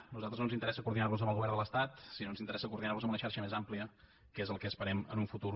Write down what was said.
a nosaltres no ens interessa coordinar nos amb el govern de l’estat sinó que ens interessa coordinar nos amb una xarxa més àmplia que és el que esperem en un futur